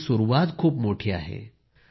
पण ही सुरुवात खूप मोठी आहे